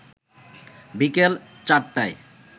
বিকেল ৪:০০টায়